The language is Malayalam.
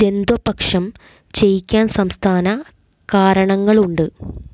ജന്ദ്വപക്ഷം െചയയ്കാൻ സംസ്ഥാന കാരണങ്ങളുണ്ട്